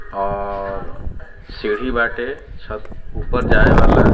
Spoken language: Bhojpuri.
और सीढ़ी बाटे छ ऊपर जाये वाला।